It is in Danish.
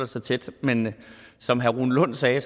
så tæt men som herre rune lund sagde